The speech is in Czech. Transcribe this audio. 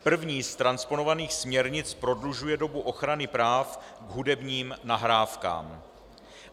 První z transponovaných směrnic prodlužuje dobu ochrany práv k hudebním nahrávkám.